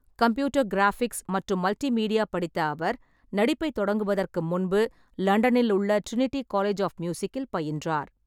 Computer graphics மற்றும் multimedia படித்த அவர், நடிப்பைத் தொடங்குவதற்கு முன்பு லண்டனில் உள்ள டிரினிட்டி காலேஜ் ஆஃப் மியூசிக்கில் பயின்றார்.